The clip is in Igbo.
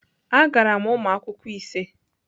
Agara m ụmụ akwụkwọ ise.